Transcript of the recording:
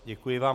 Děkuji vám.